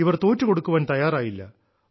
ഇവർ തോറ്റുകൊടുക്കാൻ തയ്യാറായില്ല